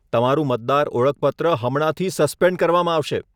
તમારું મતદાર ઓળખપત્ર હમણાંથી સસ્પેન્ડ કરવામાં આવશે.